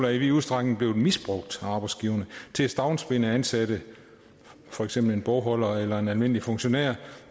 er i vid udstrækning blevet misbrugt af arbejdsgiverne til at stavnsbinde ansatte for eksempel en bogholder eller en almindelig funktionær